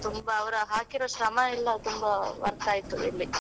ತುಂಬಾ ಅವರು ಹಾಕಿರೋ ಶ್ರಮ ಎಲ್ಲ ತುಂಬಾ worth ಆಯ್ತು ಇಲ್ಲಿ.